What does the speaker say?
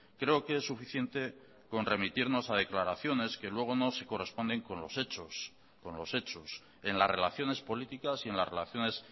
creo que es suficiente con remitirnos a declaraciones que luego no se corresponden con los hechos con los hechos en las relaciones políticas y en las relaciones